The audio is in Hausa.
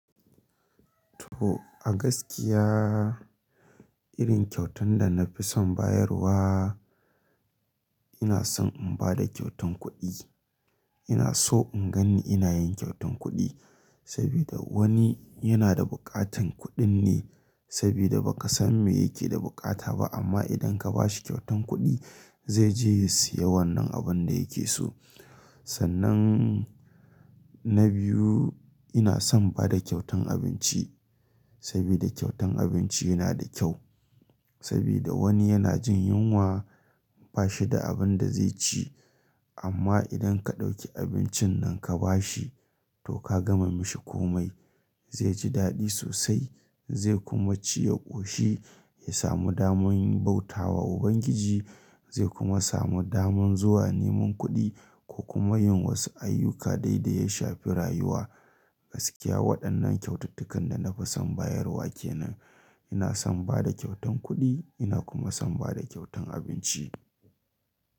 To a gaskiya irin kyautan da na fi son bayarwa ina son in ba da kyautan kuɗi. Ina so in ganni ina yin kyautan kuɗi saboda wani yana da buƙatan kuɗin ne sabida ba ka san me yake da buƙata ba, amma idan ka ba shi kyautan kuɗi zai je ya siya wannan abun da yake so. Sannan na biyu ina son bada kyautan abinci saboda kyautan abinci yana da kyau saboda wani yana jin yunwa ba shi da abin da zai ci amma idan ka ɗauki abincin nan ka ba shi to ka gama mishi komai zai ji daɗi sosai zai kuma ci ya ƙoshi ya samu daman bauta wa Ubangiji zai kuma samu daman zuwa neman kuɗi ko kuma yin wasu ayyuka dai da ya shafi rayuwa. Gaskiya waɗannan kyaututtukan da na fi son bayarwa kenan ina son bada kyautan kuɗi ina kuma son bada kyautan abinci.